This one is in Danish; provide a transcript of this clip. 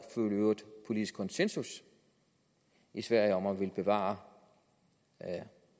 politisk konsensus i sverige om at ville bevare